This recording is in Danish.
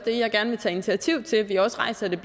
det jeg gerne vil tage initiativ til at vi også rejser det